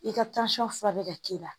I ka fura bɛ ka k'i la